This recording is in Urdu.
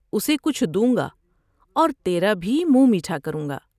اسے کچھ دوں گا اور تیرا بھی منہ میٹھا کروں گا ۔